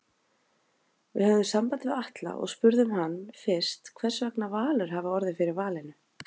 Við höfðum samband við Atla og spurðum hann fyrst hversvegna Valur hafi orðið fyrir valinu?